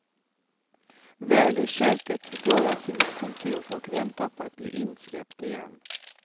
Väl i köket går jag till mitt kontor och väntar på att bli insläppt igen.